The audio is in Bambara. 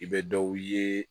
I bɛ dɔw ye